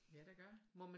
Ja der gør